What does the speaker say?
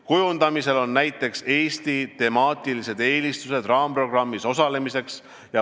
Kujundamisel on näiteks Eesti temaatilised eelistused raamprogrammis osalemiseks.